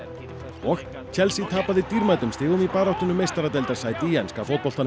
og Chelsea tapaði dýrmætum stigum í baráttunni um meistaradeildarsæti í enska fótboltanum